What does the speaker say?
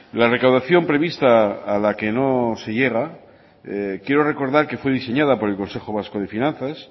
la recaudación prevista a la que no se llega quiero recordar que fue diseñada por el consejo vasco de finanzas